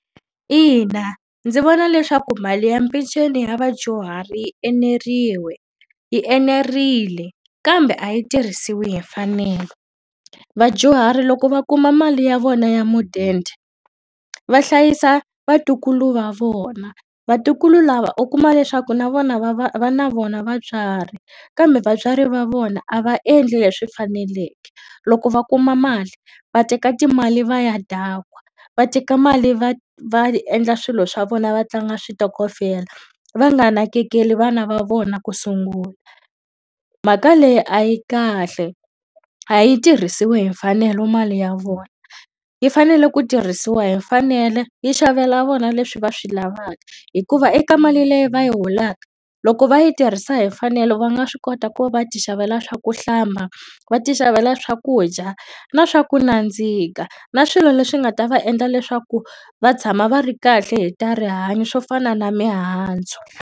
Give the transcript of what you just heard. Ina, ndzi vona leswaku mali ya peceni ya vadyuhari yi yi enerile kambe a yi tirhisiwi hi mfanelo. Vadyuhari loko va kuma mali ya vona ya mudende va hlayisa vatukulu va vona. Vatukulu lava u kuma leswaku na vona va va va na vona vatswari kambe vatswari va vona a va endli leswi faneleke, loko va kuma mali va teka timali va ya dakwa, va teka mali va va endla swilo swa vona va tlanga switokofela, va nga nakekeli vana va vona ku sungula. Mhaka leyi a yi kahle, a yi tirhisiwi hi mfanelo mali ya vona. Yi fanele ku tirhisiwa hi mfanelo yi xavela vona leswi va swi lavaka. Hikuva eka mali leyi va yi holaka, loko va yi tirhisa hi mfanelo va nga swi kota ku va va ti xavela swa ku hlamba, va ti xavela swakudya, na swa ku nandzika, na swilo leswi nga ta va endla leswaku va tshama va ri kahle hi ta rihanyo swo fana na mihandzu.